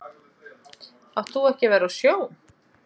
Átt þú ekki að vera á sjó?